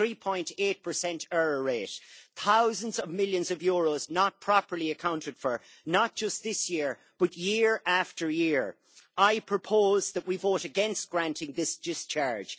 3.8 error rate, with thousands of millions of euros not properly accounted for not just this year, but year after year. I propose that we vote against granting this discharge.